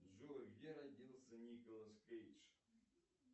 джой где родился николас кейдж